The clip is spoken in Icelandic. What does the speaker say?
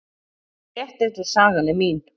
Rétt eins og sagan er mín.